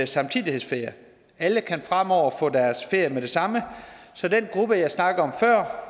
samtidighedsferie alle kan fremover få deres ferie med det samme så den gruppe jeg snakkede om før